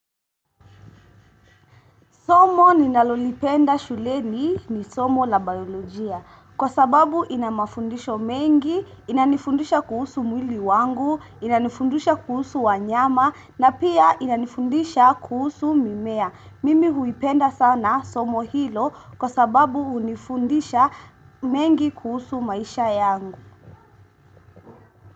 Somo ninalolipenda shuleni ni somo la biolojia kwa sababu inamafundisho mengi, inanifundisha kuhusu mwili wangu, inanifundisha kuhusu wanyama na pia inanifundisha kuhusu mimea. Mimi huipenda sana somo hilo kwa sababu unifundisha mengi kuhusu maisha yangu.